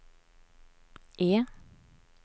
E